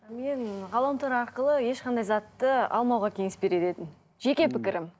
мен ғаламтор арқылы ешқандай затты алмауға кеңес берер едім жеке пікірім